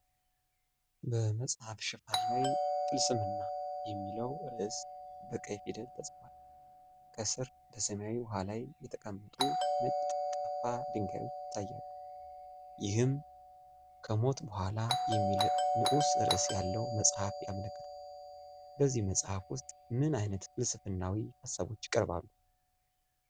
በመጽሐፍ ሽፋን ላይ "ፍልስምና" የሚለው ርዕስ በቀይ ፊደል ተጽፏል። ከስር በሰማያዊ ውሃ ላይ የተቀመጡ ነጭ ጠፍጣፋ ድንጋዮች ይታያሉ፤ ይህም "ከሞት በኋላ" የሚል ንዑስ ርዕስ ያለውን መጽሐፍ ያመለክታል። በዚህ መጽሐፍ ውስጥ ምን ዓይነት ፍልስፍናዊ ሐሳቦች ይቀርባሉ?